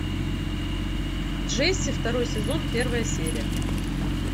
джесси второй сезон первая серия